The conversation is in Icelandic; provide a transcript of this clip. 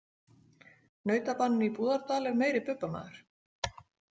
Nautabaninn í Búðardal er meiri Bubba- maður.